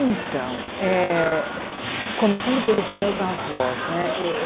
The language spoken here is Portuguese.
Então, eh começando pelos meus avós, né eh?